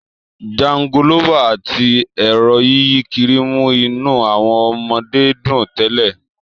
Jangolófà àti ẹ̀rọ yíyí kiri mú inú àwọn ọmọdé dùn tẹ́lẹ̀